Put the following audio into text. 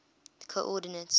coordinates